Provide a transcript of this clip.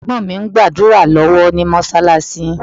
Ẹ̀gbọ́n mi ń gbàdúrà lọ́wọ́ ní Mọ́ṣáláṣí